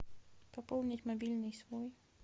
пополнить мобильный свой